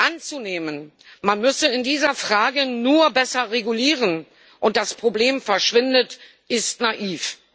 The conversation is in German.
Anzunehmen, man müsse in dieser Frage nur besser regulieren, und das Problem verschwinde, ist naiv.